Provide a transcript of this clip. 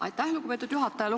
Aitäh, lugupeetud juhataja!